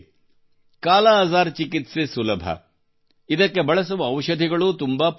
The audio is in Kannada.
ಕಾಲಾಅಜಾರ್ ಚಿಕಿತ್ಸೆ ಸುಲಭ ಇದಕ್ಕೆ ಬಳಸುವ ಔಷಧಿಗಳೂ ತುಂಬಾ ಪರಿಣಾಮಕಾರಿ